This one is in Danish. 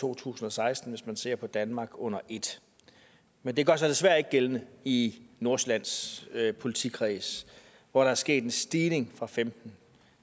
to tusind og seksten hvis man ser på danmark under et men det gør sig desværre ikke gældende i nordsjællands politikreds hvor der er sket en stigning og femten